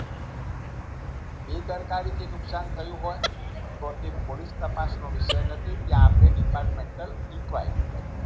બેદરકારીથી નુકસાન થયું હોય તો તે પોલિસ તપાસનો વિષય નથી તે આપણે Departmental Inquiry કરવી